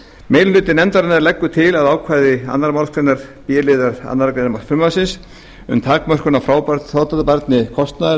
meiri hluti nefndarinnar leggur til að ákvæði annarrar málsgreinar b liðar annarrar greinar frumvarpsins um takmörkun á frádráttarbærni kostnaðar